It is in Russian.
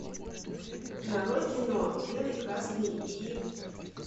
нарой кино белый красный и